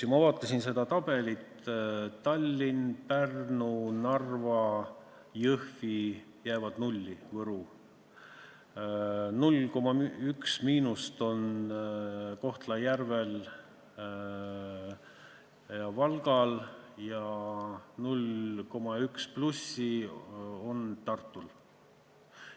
Ma vaatasin seda tabelit: Tallinn, Pärnu, Narva, Jõhvi ja Võru jäävad nulli, 0,1% miinust on Kohtla-Järvel ja Valgal ning 0,1% plussi on Tartul.